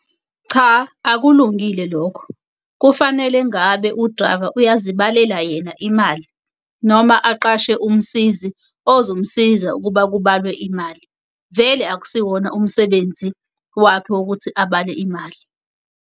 Cha, akulungile lokho. Kufanele ngabe u-driver uyazibhalela yena imali, noma aqashe umsizi ozomsiza ukuba kubalwe imali. Vele akusiwona umsebenzi wakhe ukuthi abale imali.